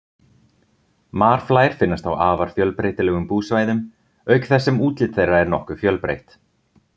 Marflær finnast á afar fjölbreytilegum búsvæðum auk þess sem útlit þeirra er nokkuð fjölbreytt.